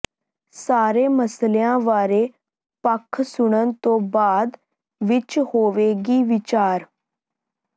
ਸਾਰੇ ਮਸਲਿਆਂ ਬਾਰੇ ਪੱਖ ਸੁਣਨ ਤੋਂ ਬਾਅਦ ਵਿੱਚ ਹੋਵੇਗੀ ਵਿਚਾਰ